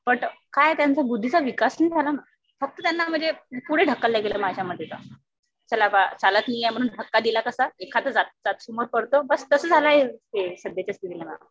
But काय आहे त्यांच्या बुद्धीचा विकास नाही झाला ना. फक्त त्यांना म्हणजे पुढे ढकलल्या गेलं माझ्या मते तर. चला बुवा चालत नाहीये म्हणून धक्का दिला कसा एखाद मुळे पडतं. तसं झालेलं आहे हे सध्याच्या स्थितीला मॅम..